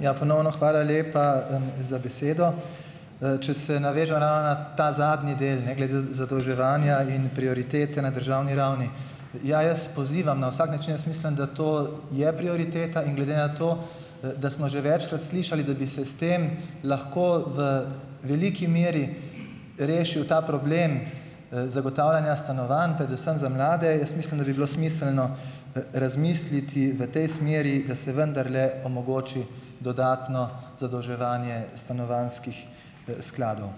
Ja, ponovno hvala lepa, za besedo. Če se navežem ravno na ta zadnji del ne, glede zadolževanja in prioritete na državni ravni. Ja, jaz pozivam, na vsak način jaz mislim, da to je prioriteta in glede na to, da smo že večkrat slišali, da bi se s tem lahko v veliki meri rešil ta problem, zagotavljanja stanovanj, predvsem za mlade, jaz mislim, da bi bilo smiselno razmisliti v tej smeri, da se vendarle omogoči dodatno zadolževanje stanovanjskih, skladov.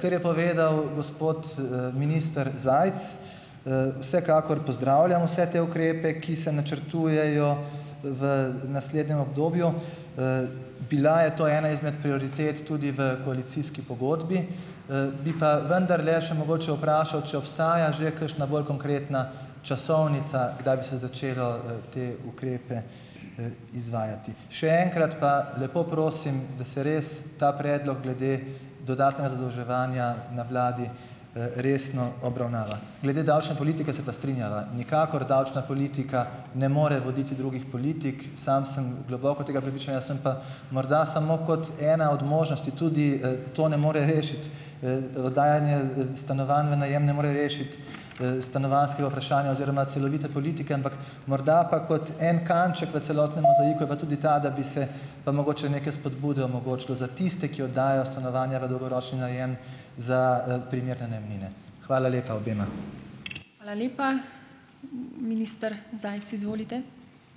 Kar je povedal gospod, minister Zajc, vsekakor pozdravljam vse te ukrepe, ki se načrtujejo v naslednjem obdobju. Bila je to ena izmed prioritet tudi v koalicijski pogodbi, bi pa vendarle še mogoče vprašal, če obstaja že kakšna bolj konkretna časovnica, kdaj bi se začelo, te ukrepe, izvajati. Še enkrat pa lepo prosim, da se res ta predlog glede dodatnega zadolževanja na vladi, resno obravnava. Glede davčne politike se pa strinjava, nikakor davčna politika ne more voditi drugih politik. Sam sem globoko tega prepričanja, sem pa morda samo kot ena od možnosti tudi, to ne more rešiti, oddajanje stanovanj v najem ne more rešiti, stanovanjskega vprašanja oziroma celovite politike, ampak morda pa kot en kanček v celotnem mozaiku je pa tudi ta, da bi se pa mogoče neke spodbude omogočilo za tiste, ki oddajajo stanovanja v dolgoročni najem za, primerne najemnine. Hvala lepa obema.